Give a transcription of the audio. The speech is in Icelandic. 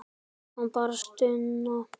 Það kom bara stuna.